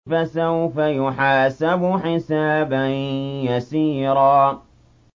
فَسَوْفَ يُحَاسَبُ حِسَابًا يَسِيرًا